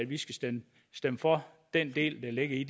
vi skal stemme for den del der ligger i